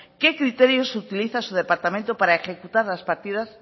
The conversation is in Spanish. qué criterios utiliza su departamento para ejecutar las partidas